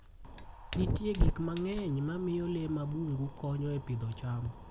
Nitie gik mang'eny mamiyo le mag bungu konyo e pidho cham.